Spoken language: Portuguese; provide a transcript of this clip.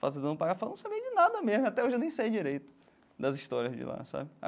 Fazendo um, não sabia de nada mesmo, até hoje eu nem sei direito das histórias de lá, sabe?